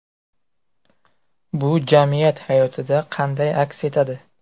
Bu jamiyat hayotida qanday aks etadi?.